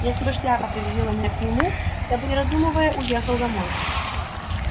если бы шляпа определила меня к нему я бы не раздумывая уехал домой